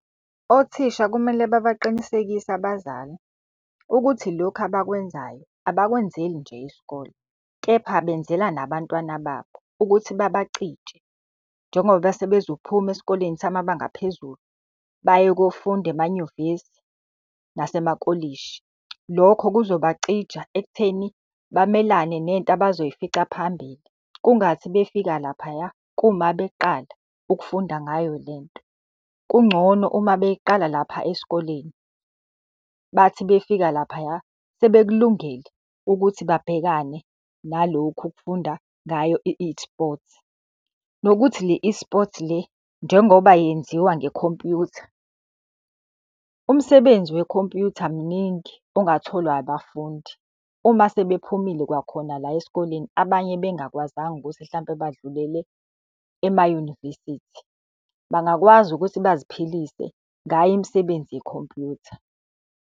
Othisha kumele babaqinisekise abazali ukuthi lokhu abakwenzayo abakwenzeli nje isikole kepha benzela nabantwana babo ukuthi babacije, njengoba sebezophuma esikoleni samabanga aphezulu baye kofunda emanyuvesi nasemakolishi. Lokho kuzobacija ekutheni bamelane nento abazoyifica phambili, kungathi befika laphaya kuyima beqala ukufunda ngayo lento. Kungcono uma beyiqala lapha esikoleni, bathi befika laphaya sebekulungele ukuthi babhekane nalokhu ukufunda ngayo i-eSports. Nokuthi le-eSport le, njengoba yenziwa ngekhompuyutha, umsebenzi wekhompuyutha muningi ongatholwa abafundi uma sebephumile kwakhona la esikoleni abanye bengakwazanga ukuthi hlampe badlulele emayunivesithi. Bangakwazi ukuthi baziphilise ngayo imisebenzi yekhompuyutha.